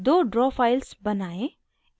दो draw files बनाएं